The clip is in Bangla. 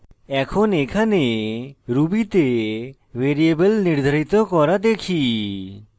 এখন এখানে ruby তে ভ্যারিয়েবল নির্ধারিত করা দেখি